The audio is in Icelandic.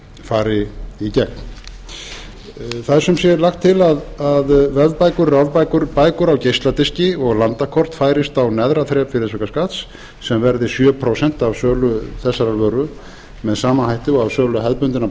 fari í gegn það er er sumsé lagt til að vefbækur rafbækur bækur á geisladiska og landakort færist á neðra þrep virðisaukaskatts sem verði sjö prósent af sölu þessarar vöru með sama hætti og af sölu hefðbundinna